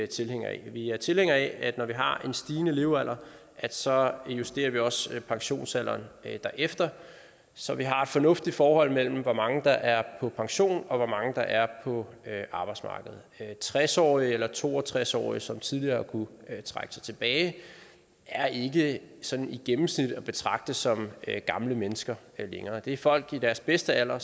tilhængere af vi er tilhængere af at når vi har en stigende levealder så justerer vi også pensionsalderen derefter så vi har et fornuftigt forhold mellem hvor mange der er på pension og hvor mange der er på arbejdsmarkedet tres årige eller to og tres årige som tidligere kunne trække sig tilbage er ikke sådan i gennemsnit at betragte som gamle mennesker længere det er folk i deres bedste alder